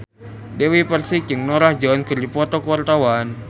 Dewi Persik jeung Norah Jones keur dipoto ku wartawan